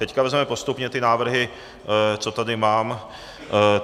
Teď vezmeme postupně ty návrhy, co tady mám.